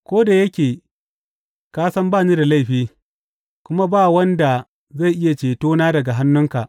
Ko da yake ka san ba ni da laifi, kuma ba wanda zai iya cetona daga hannunka.